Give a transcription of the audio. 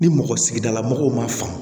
Ni mɔgɔ sigidala mɔgɔw ma faamu